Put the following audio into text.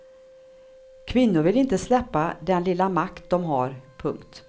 Kvinnor vill inte släppa den lilla makt de har. punkt